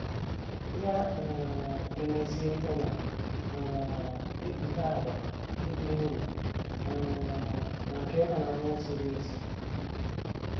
Ya um emezie ihe na - um ekpughe àgwà ịdị nro um na nke ịhụnanya ziri ezi.